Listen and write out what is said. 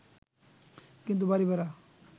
কিন্তু বাড়ী ভাড়া